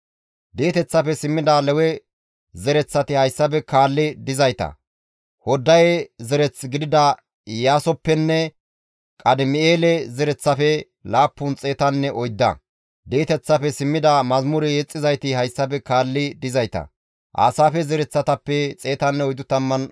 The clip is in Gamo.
Di7eteththafe simmida Xoossa Keeththa penge naagiza zabeta zereththati hayssafe kaalli dizayta; Xalmoone, Axare, Shaloome, Aqube, Haxixenne Shobbaye zereththatappe 138.